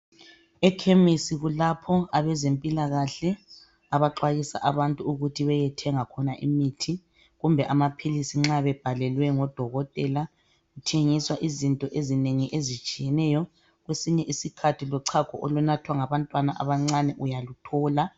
Ekhemisi kulapho abezempilakahle abaxwayisa abantu ukuthi beyethenga khona imithi kumbe amaphilisis nxa bebhalelwe ngodokotela kuthengiswa izinto ezinengoi ezitshiyeneyo kwesinye isikhathi lochago olunathwa ngabantwana abancane uyaluthola.